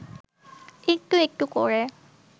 একটু একটু করে